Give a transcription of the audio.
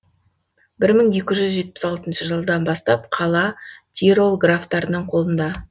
бір мың екі жүз жетпіс алтыншы жылдан бастап қала тирол графтарының қолында